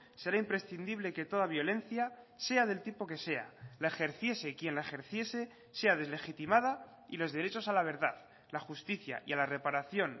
será imprescindible que toda violencia sea del tipo que sea la ejerciese quien la ejerciese sea deslegitimada y los derechos a la verdad la justicia y a la reparación